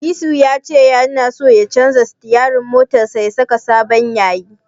Disu ya ce tana so ya canja sitiyarin motarsa ya saka sabon yayi.